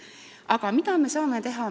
Aga mida me saame teha?